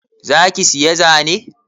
Za ki siya zane?